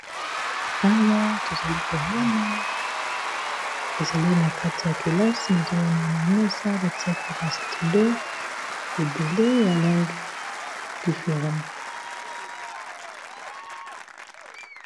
Awa tozali komona ezali na kati ya kelasi nazomona na mesa batiaki ba stilo ebele ya langi different.